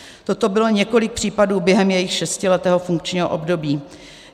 Toto bylo několik případů během jejího šestiletého funkčního období.